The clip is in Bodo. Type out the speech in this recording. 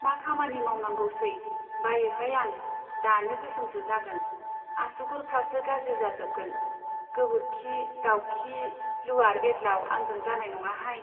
मा खामानि मावनांगौसै , बायोहाय आं, दानो गोसोमसो जागोन , आसुगुर फ्रासो गाज्रि जाजोबगोन। गोबोरखि , दाउखि , लुवार बेदलाव आंजों जानाय नङाहाय